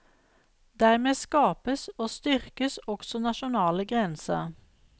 Dermed skapes og styrkes også nasjonale grenser.